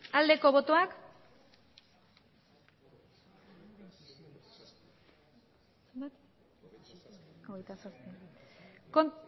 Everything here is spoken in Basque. aldeko botoak